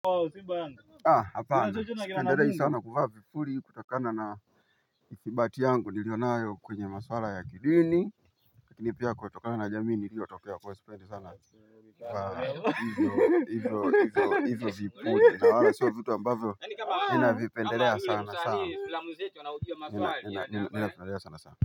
Hapana, sipendelei sana kuvaa vipuli kutokana na thibati yangu nilioyo nayo kwenye maswala ya kidini, kinipiea kutokana na jamii niliyotokea kwa hiyo sipendi sana hivyo hivyo hivyo hivyo vipuri. Na wala sio vitu ambavyo ninavipendelea sana sana.